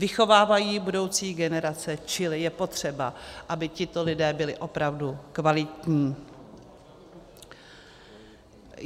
Vychovávají budoucí generace, čili je potřeba, aby tito lidé byli opravdu kvalitní.